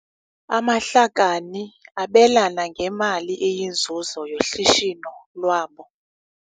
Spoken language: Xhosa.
Amahlakani abelana ngemali eyinzuzo yoshishino lwabo.